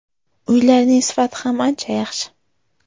Uylarning sifati ham ancha yaxshi.